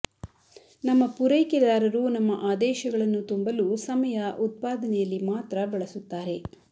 ನಮ್ಮ ಪೂರೈಕೆದಾರರು ನಮ್ಮ ಆದೇಶಗಳನ್ನು ತುಂಬಲು ಸಮಯ ಉತ್ಪಾದನೆಯಲ್ಲಿ ಮಾತ್ರ ಬಳಸುತ್ತಾರೆ